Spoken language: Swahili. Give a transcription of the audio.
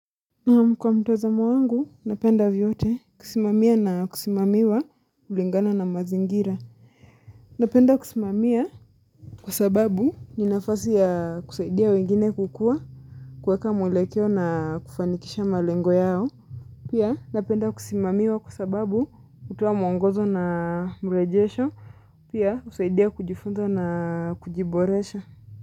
Naam kwa mtozamo wangu, napenda vyote, kusimamia na kusimamiwa kulingana na mazingira. Napenda kusimamia kwa sababu, ni nafasi ya kusaidia wengine kukua, kuweka mwelekeo na kufanikisha malengo yao. Pia napenda kusimamiwa kwa sababu, utoa mwongozo na mrejesho, pia husaidia kujifunza na kujiboresha.